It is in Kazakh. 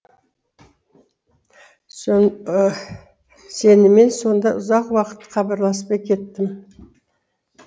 сенімен сонда ұзақ уақыт хабарласпай кеттім